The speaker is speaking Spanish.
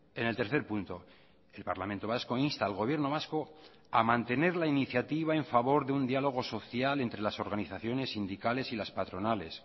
en el tercer punto el parlamento vasco insta al gobierno vasco a mantener la iniciativa en favor de un diálogo social entre las organizaciones sindicales y las patronales